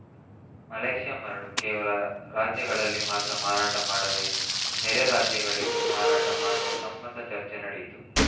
Malaysia ಮರಳು ಕೇವಲ ರಾಜ್ಯಗಳಲ್ಲಿ ಮಾತ್ರ ಮಾರಾಟ ಮಾಡದೆ ನೆರೆ ರಾಜ್ಯಗಳಿಗೂ ಮಾರಾಟ ಮಾಡುವ ಸಂಬಂಧ ಚರ್ಚೆ ನಡೆಯಿತು